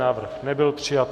Návrh nebyl přijat.